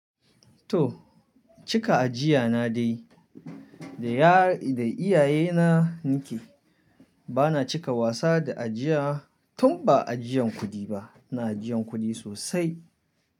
To, cika ajiya na dai. Da iyaye na nike, bana cika wasa da ajiya tun ba ajiyan kuɗi ba, ina ajiyan kuɗi sosai.